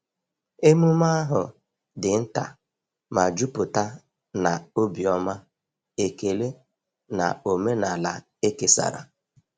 Emume ahụ di nta ma juputa na obiọma, ekele, na omenala e kesara.